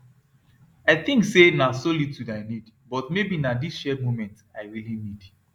i think say na solitude i need but maybe na this shared moment i really need